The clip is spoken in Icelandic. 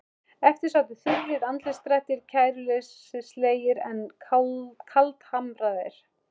Eftir sátu þurrir andlitsdrættir, kæruleysislegir en kaldhamraðir.